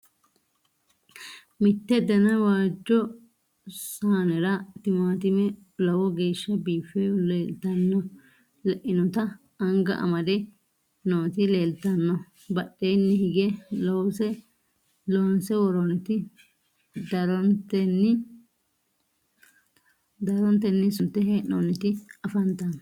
Mitte danna waajjo saannera timaattimme lowo geeshsha biiffe leinnotta anga amadde nootti leelittanno. Badheenni higge loonse woroonnitti daroontenni sunte hee'noonnitti affanttanno